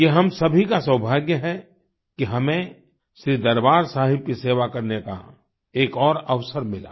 यह हम सभी का सौभाग्य है कि हमें श्री दरबार साहिब की सेवा करने का एक और अवसर मिला